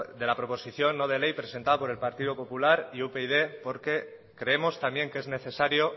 de la proposición no de ley presentada por el partido popular y upyd porque creemos también que es necesario